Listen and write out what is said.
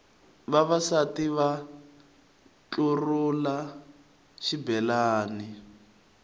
vavasati va ntlurhula xibelani